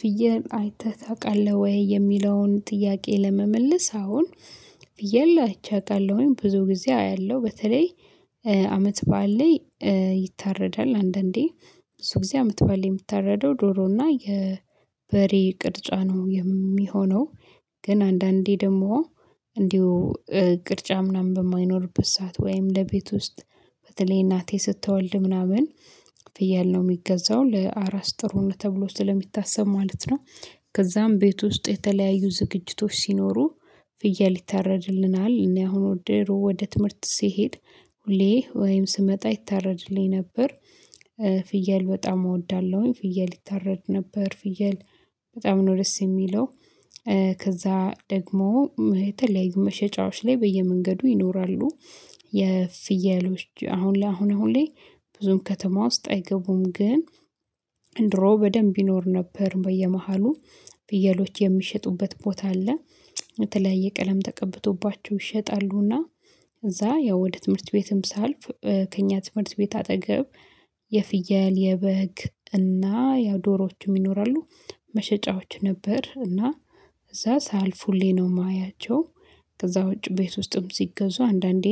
ፍየል አይተህ ታውቃለህ ወይ የሚለውን ጥያቄ ለመመለስ? አዎ ፍየል አይቼ አውቃለሁኝ ብዙ ጊዜ አያለሁ በተለይ አመት በዓል ላይ ይታረዳል አንዳንዴ ብዙ ጊዜ አመት ባእል የምታረደው ዶሮ እና የበሬ ቅርጫ ነው የሚሆነው። ግን አንዳንዴ ደግሞ እንዲሁ ቅርጫ ምናምን በማይኖርበት ሰዓት ወይም ለቤት ውስጥ በተለይ እናቴ ስትወልድ ምናምን ፍየል ነው የሚገዛው ለአራስ ጥሩ ነው ተብሎ ስለሚታሰብ ማለት ነው። ከዛም ቤት ውስጥ የተለያዩ ዝግጅቶች ሲኖሩ ፍየል ይታረድልናል። እኔ አሁን ድሮ ወደ ትምህርት ሲሄድ ሁሌ ወይም ስመጣ ይታረድልኝ ነበር። ፍየል በጣም እወዳለሁኝ ፍየል ይታረድ ነበር ፍየል በጣም ነው ደስ የሚለው። ከዛ ደግሞ የተለያዩ መሸጫዎች ላይ በየመንገዱ ይኖራሉ። የፍየሎች አሁን ለአሁን ሁሌ ብዙም ከተማ ውስጥ አይገቡም ግን ድሮ በደንብ ይኖር ነበር። በየመሃሉ ፍየሎች የሚሸጡበት ቦታ አለ። የተለያየ ቀለም ተቀብቶባቸው ይሸጣሉና ከዛ ያው ወደ ትምህርት ቤትም ሳልፍ ከእኛ ትምህርት ቤት አጠገብ የፍየል የበግ እና ያው ዶሮዎቹም ይኖራሉ። መሸጫዎች ነበር እና እዛ ሳልፉ ሁሌ ነው የማያቸው። ከዛ ውጪ ቤት ውስጥም ሲገዙ አንዳንዴ